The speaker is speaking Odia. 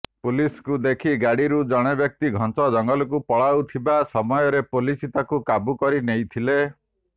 ପୁଲିସଙ୍କୁ ଦେଖି ଗାଡିରୁ ଜଣେ ବ୍ୟକ୍ତି ଘଞ୍ଚ ଜଙ୍ଗଲକୁ ପଳାଉଥିବା ସମୟରେ ପୁଲିସ ତାକୁ କାବୁ କରି ନେଇଥିଲେ